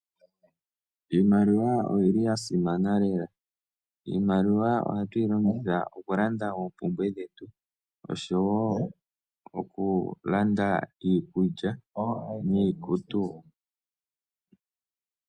Iimaliwa oyi li ya simana lela. Iimaliwa ohatu yi longitha okulanda oompumbwe dhetu osho wo okulanda iikulya niikutu.